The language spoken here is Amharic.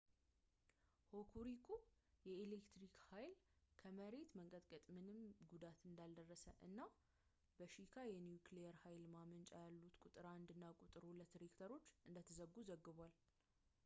ሆኩሪኩ የኤሌትሪክ ኃይል ኮ ከመሬት መንቀጥቀጡ ምንም ጉዳት እንዳልደረሰ እና እናም በሺካ የኒውክሊየር ኃይል ማመንጫ ያሉት ቁጥር 1 እና ቁጥር 2 ሬክተሮች እንደተዘጉ ዘግቧል